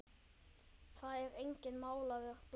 Það er enginn málaður blár.